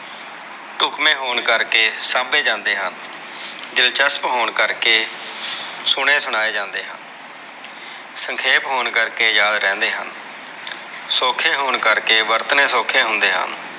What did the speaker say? ਧੁਪਮੇ ਹੋਣ ਕਰਕੇ ਸਾਂਭੇ ਜਾਂਦੇ ਹਨ, ਦਿਲਚਸਟ ਹੋਣ ਕਰਕੇ ਸੁਣੇ ਸੁਣਾਏ ਜਾਂਦੇ ਹਨ ਸੰਖੇਪ ਹੋਣ ਕਰਕੇ ਯਾਦ ਰਹਿੰਦੇ ਹਨ ਸੋਖੇ ਹੋਣ ਕਰਕੇ ਵਰਤਣੇ ਸੋਖੇ ਹੁੰਦੇ ਹਨ।